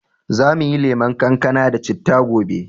Za mu yi lemon kankana da citta gobe.